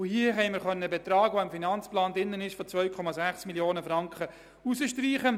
In diesem Fall konnten wir den Betrag von 2,6 Mio. Franken streichen.